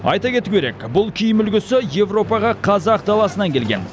айта кету керек бұл киім үлгісі еуропаға қазақ даласынан келген